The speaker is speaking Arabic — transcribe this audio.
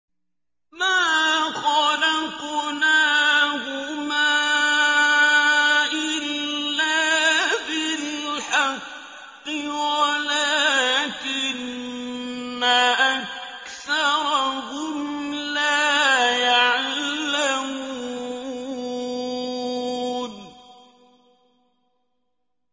مَا خَلَقْنَاهُمَا إِلَّا بِالْحَقِّ وَلَٰكِنَّ أَكْثَرَهُمْ لَا يَعْلَمُونَ